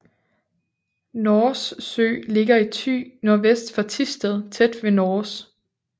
Nors Sø ligger i Thy nordvest for Thisted tæt ved Nors